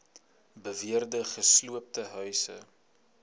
beweerde gesloopte huise